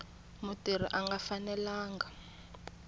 mutirhi a nga fanelanga ku